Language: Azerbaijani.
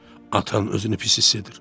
Atan özünü pis hiss edir.